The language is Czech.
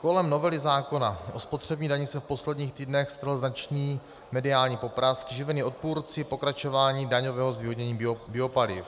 Kolem novely zákona o spotřebních daních se v posledních týdnech strhl značný mediální poprask, živený odpůrci pokračování daňového zvýhodnění biopaliv.